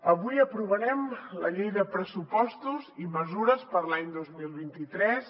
avui aprovarem la llei de pressupostos i mesures per a l’any dos mil vint tres